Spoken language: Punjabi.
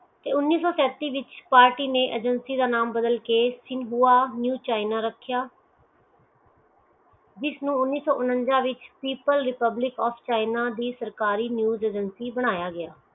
ਤੇ ਉਨੀਸੋ ਸੈਂਤੀ ਵਿਚ ਵਿਚ ਪਾਰਟੀ ਨੈ ਏਜੇਂਸੀ ਦਾ ਨਾਮੁ ਬਾਦਲ ਕੇ ਨਵ ਕਹਿਣਾ ਰੱਖਿਆ ਜਿਸ ਨੂੰ ਉਣੀਸੋ ਊਂਚਾਸ ਵਿਚ ਪਬਲਿਕ ਓਫ ਚੀਨ ਦੀ ਕਰਿ ਚੀਜ਼ ਏਜੇਂਸੀ ਬਨਾਯਾ ਗਿਆ